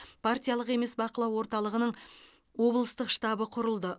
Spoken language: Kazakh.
партиялық емес бақылау орталығының облыстық штабы құрылды